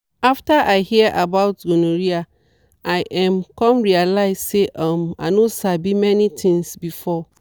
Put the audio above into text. after i hear about gonorrhea i um come realize say um i no sabi many things before.